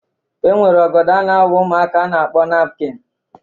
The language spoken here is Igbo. E nwere ọgọdọ a na-awa ụmụaka a na-akpọ napukin.